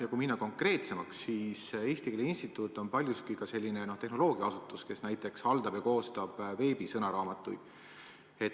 Ja kui minna konkreetsemaks, siis Eesti Keele Instituut on paljuski ka selline tehnoloogiaasutus, kes näiteks haldab ja koostab veebisõnaraamatuid.